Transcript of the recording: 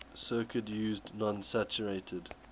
circuit used non saturated